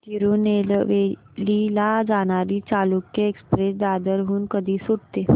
तिरूनेलवेली ला जाणारी चालुक्य एक्सप्रेस दादर हून कधी सुटते